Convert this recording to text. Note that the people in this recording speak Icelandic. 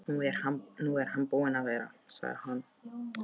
Nú er hann búinn að vera, sagði hann.